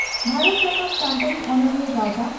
ᱵᱷᱟᱨᱚᱛ ᱡᱟᱠᱟᱛ ᱥᱟᱱᱛᱟᱲᱤ ᱚᱱᱚᱞᱤᱭᱟᱹ ᱜᱟᱣᱛᱟ